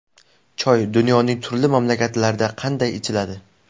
Choy dunyoning turli mamlakatlarida qanday ichiladi?.